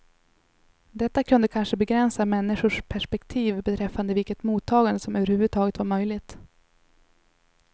Detta kunde kanske begränsa människors perspektiv beträffande vilket mottagande som överhuvudtaget var möjligt.